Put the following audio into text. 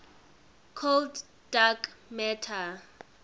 cold dark matter